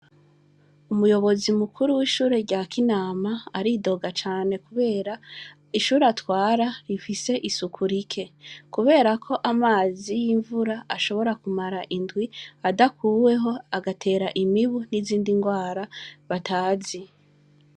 Umuyobozi mukuru w'ishure rya Kinamba aridoga cane , kubera ishure atwara rifise isuku like, kubera ko amazi y'imvura ashobora kumara indwi adakuweho, agatera imibu n'izindi ngwara batazi.